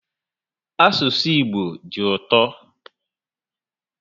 Asụsụ Igbo dị ụtọ